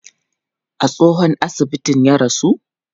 A tsohon asibitin ya rasu?